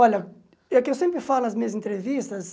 Olha, é o que eu sempre falo nas minhas entrevistas.